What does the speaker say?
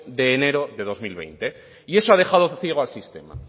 de enero de dos mil veinte y eso ha dejado ciego al sistema